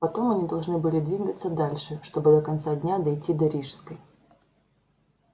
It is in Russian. потом они должны были двигаться дальше чтобы до конца дня дойти до рижской